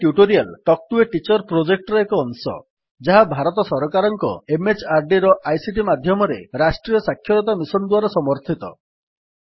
spoken tutorial talk to a teacher ପ୍ରୋଜେକ୍ଟର ଏକ ଅଂଶ ଯାହା ଭାରତ ସରକାରଙ୍କ MHRDର ଆଇସିଟି ମାଧ୍ୟମରେ ରାଷ୍ଟ୍ରୀୟ ସାକ୍ଷରତା ମିଶନ୍ ଦ୍ୱାରା ସମର୍ଥିତ